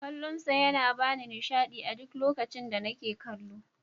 Kallon sa yana bani nishaɗi a duk lokacin da nake kallo.